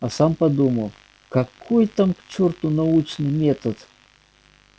а сам подумал какой там к черту научный метод